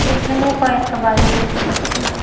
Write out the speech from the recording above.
এখানে কয়েকটা বাড়ি দেখতে পাচ্ছি।